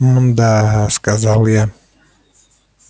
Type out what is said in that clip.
мда сказал я